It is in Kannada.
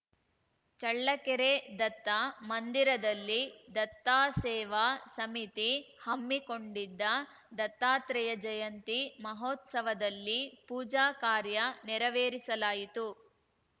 ಚಳ್ಳಕೆರೆ ದತ್ತ ಮಂದಿರದಲ್ಲಿ ದತ್ತಾಸೇವಾ ಸಮಿತಿ ಹಮ್ಮಿಕೊಂಡಿದ್ದ ದತ್ತಾತ್ರೇಯ ಜಯಂತಿ ಮಹೋತ್ಸವದಲ್ಲಿ ಪೂಜಾ ಕಾರ್ಯ ನೆರವೇರಿಸಲಾಯಿತು